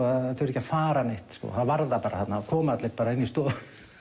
að þurfa ekki að fara neitt þá var það bara þarna og komu allir bara inn í stofu